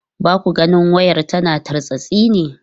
Ba ku ganin wayar tana tartsatsi ba?